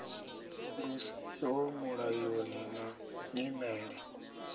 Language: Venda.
lu siho mulayoni na nyimele